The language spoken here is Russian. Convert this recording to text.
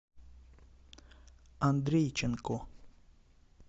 андрейченко